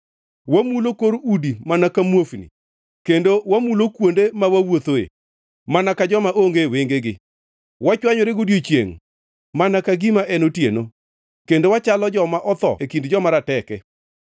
Wamulo kor udi mana ka muofni, kendo wamulo kuonde ma wawuothe, mana ka joma onge wengegi. Wachwanyore godiechiengʼ, mana ka gima en otieno kendo wachalo joma otho e kind joma rateke.